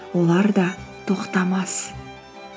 олар да тоқтамас